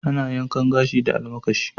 Ana yankan gashi da almakashi.